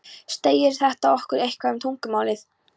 Segir þetta okkur eitthvað um tungumálið?